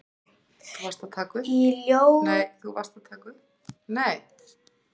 Í ljóðum Jónasar